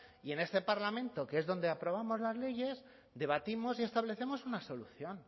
y en este parlamento que es donde aprobamos las leyes debatimos y establecemos una solución